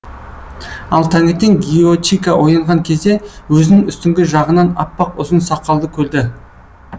ал таңертең гиочика оянған кезде өзінің үстіңгі жағынан аппақ ұзын сақалды көрді